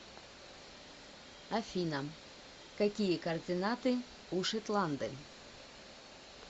афина какие координаты у шетланды